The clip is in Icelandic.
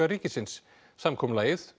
ríkisins samkomulagið